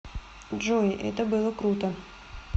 джой это было круто